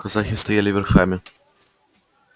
казаки стояли верхами